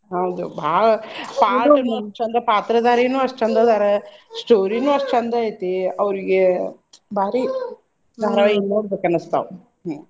ಹೌದು ಭಾಳ ಪಾತ್ರಧಾರಿನು ಅಷ್ಟ್ ಚಂದ ಅದಾರ, story ನು ಅಷ್ಟ್ ಚಂದ್ ಐತಿ ಅವ್ರಿಗೆ ಭಾರಿ ನೋಡ್ಬೇಕ್ ಅನ್ನುಸ್ತಾವ್ ಹ್ಮ್.